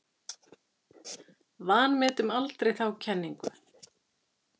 Vanmetum aldrei þá kenningu.